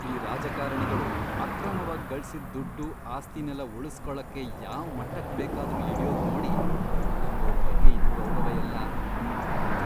ಈ ರಾಜಕಾರಣಿಗಳು ಅಕ್ರಮವಾಗ್ ಗಳ್ಸಿದ್ ದುಡ್ಡು, ಆಸ್ತಿನೆಲ್ಲ ಉಳುಸ್ಕೊಳಕ್ಕೆ ಯಾವ್ ಮಟ್ಟಕ್ ಬೇಕಾದ್ರೂ ಇಳ್ಯೋದ್ನೋಡಿ ನಂಗವ್ರ್ ಬಗ್ಗೆ ಇದ್ದ್ ಗೌರವಯೆಲ್ಲ ಮಣ್ಣ್ ಪಾಲಾಯ್ತು.